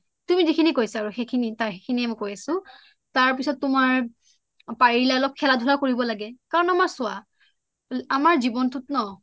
তুমি যিখিনি কৈছা সেইখিনিয়ে কৈছোঁ তাৰপিছত তোমাৰ পাৰিলে অলপ খেলা ধূলায়ো কৰিব লাগে কাৰণ আমাৰ চোৱা আমাৰ জীৱনটোত ন